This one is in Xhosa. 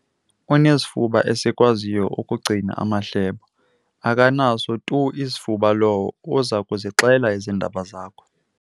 Unesifuba esikwaziyo ukugcina amahlebo. akanaso tu isifuba lowo uza kuzixela iindaba zakho